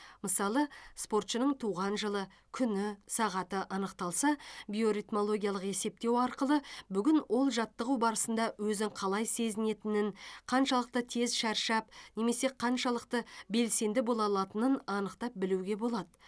мысалы спортшының туған жылы күні сағаты анықталса биоритмологиялық есептеу арқылы бүгін ол жаттығу барысында өзін қалай сезінетінін қаншалықты тез шаршап немесе қаншалықты белсенді бола алатынын анықтап білуге болады